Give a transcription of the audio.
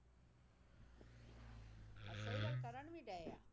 ਅਹ ਸਹੀ ਗੱਲ ਕਰਨ ਵੀ ਡਿਆ